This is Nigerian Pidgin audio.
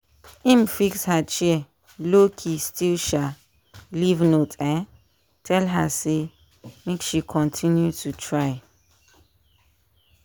im fix her chair lowkey still um leave note um tell her say make she continue to try.